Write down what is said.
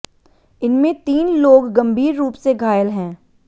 इनमें तीन लोग गंभीर रूप से घायल हैं